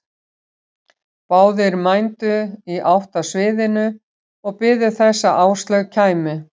Báðir mændu í átt að sviðinu og biðu þess að Áslaug kæmi.